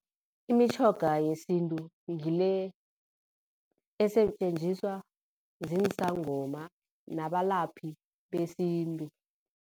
Imitjhoga yesintu ngile esetjenziswa zinsangoma nabalaphi besintu.